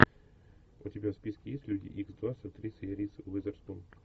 у тебя в списке есть люди икс два с актрисой риз уизерспун